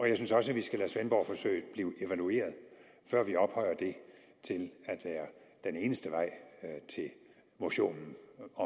jeg synes også at vi skal lade svendborgforsøget blive evalueret før vi ophøjer det til at være den eneste vej til motionen